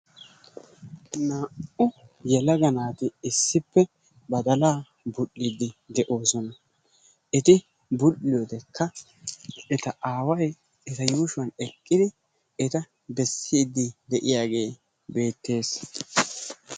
Naa'u yelaga naati issippe badaala bul'idi deosona. eti bul'iyodekk eta aaway eta yushuwan eqqidi eta beesidi deiayage beetees.